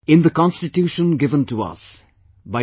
In the Constitution given to us by Dr